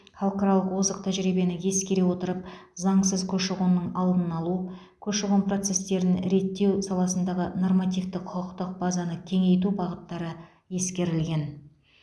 халықаралық озық тәжірибені ескере отырып заңсыз көші қонның алдын алу көші қон процестерін реттеу саласындағы нормативтік құқықтық базаны кеңейту бағыттары ескерілген